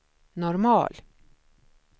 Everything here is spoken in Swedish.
normal